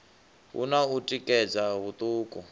hu na u tikedza huṱuku